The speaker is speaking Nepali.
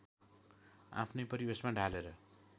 आफ्नै परिवेशमा ढालेर